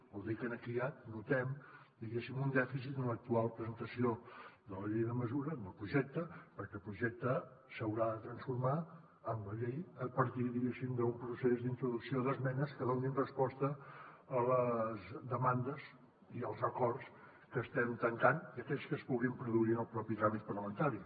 vol dir que aquí ja notem diguéssim un dèficit en l’actual presentació de la llei de mesures en el projecte perquè el projecte s’haurà de transformar en la llei a partir diguéssim d’un procés d’introducció d’esmenes que donin resposta a les demandes i als acords que estem tancant i a aquells que es puguin produir en el propi tràmit parlamentari